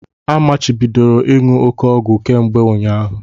A machibidoro ịṅụ òké ọgwụ kemgbe ụnyaahụ!